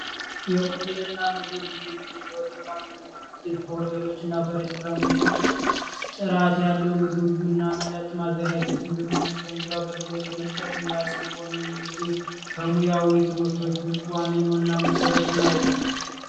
የሆቴል እና ምግብ ዝግጅት የሆቴል እና ምግብ ዝግጅት በሆቴሎች እና በሬስቶራንቶች ውስጥ ጥራት ያለው ምግብ እና መጠጥ ማዘጋጀት እንዲሁም የመስተንግዶ አገልግሎት የመስጠት ሙያ ሲሆን ይህም እንግዲህ ከሙያዊ ትምህርቶች ውስጥ ዋነኛው እና መሰረቱ ነው።